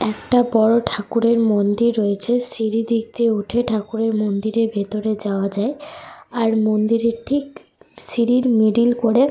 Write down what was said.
একটা বড় ঠাকুরের মন্দির রয়েছে। সিঁড়ি দিক দিয়ে উঠে ঠাকুরের মন্দিরের ভিতরে যাওয়া যায়। আর মন্দিরের ঠিক সিঁড়ির মিডল করে।